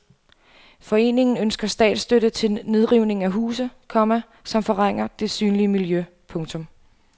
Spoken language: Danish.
Foreningen ønsker statsstøtte til nedrivning af huse, komma som forringer det synlige miljø. punktum